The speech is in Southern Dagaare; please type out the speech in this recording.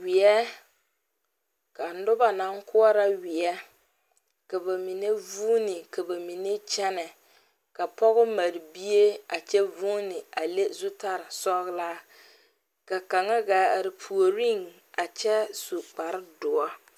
Weɛ ka noba naŋ koɔrɔ weɛ ka ba mine vuune ka ba mine kyɛnɛ ka pɔge mare bie a kyɛ vuune a le zutaresɔglaa ka kaŋa gaa are puoriŋ a kyɛ su kparedoɔre.